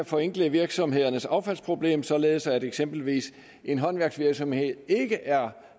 forenkle virksomhedernes affaldsproblem således at eksempelvis en håndværksvirksomhed ikke er